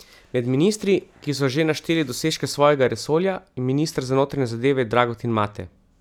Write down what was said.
Med ministri, ki so že našteli dosežke svojega resorja, je minister za notranje zadeve Dragutin Mate.